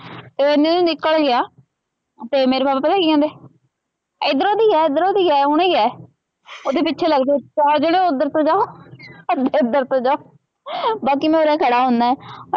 ਤੇ ਓਹ ਏਨੇ ਨੂ ਨਿਕਲ ਗਇਆ ਤੇ ਮੇਰੇ ਪਾਪਾ ਪਤਾ ਕੀ ਕਹਿੰਦੇ ਏਧਰੋ ਦੀ ਗਇਆ ਏਧਰੋ ਦੀ ਗਇਆ ਹੁਣੀ ਗਇਆ ਓਹਦੇ ਪਿਛੇ ਲਗ ਜੋ ਚਾਰ ਜਣੇ ਓਧਰ ਤੋ ਜਾਓ ਅਧੇ ਇਧਰ ਤੋ ਜਾਓ ਬਾਕੀ ਉਰੇ ਮੈਂ ਖੜਾ ਹੁਣਾ।